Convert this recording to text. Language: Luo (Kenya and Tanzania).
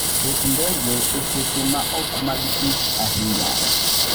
Ket ndege e seche maok mag tich ahinya.